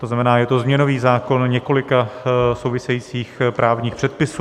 To znamená, je to změnový zákon několika souvisejících právních předpisů.